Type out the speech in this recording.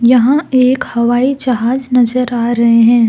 यहां एक हवाई जहाज नजर आ रहे हैं।